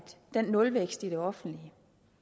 den nulvækst i det offentlige